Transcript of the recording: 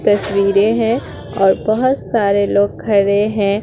तस्वीरे है और बहोत सारे लोग खड़े हैं।